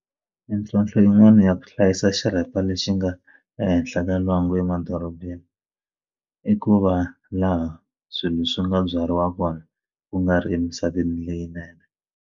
Mintlhontlho yin'wani ya ku hlayisa xirhapa lexi nga ehenhla ka lwangu emadorobeni i ku va laha swilo swi nga byariwa kona ku nga ri emisaveni leyinene.